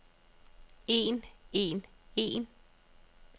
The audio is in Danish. en en en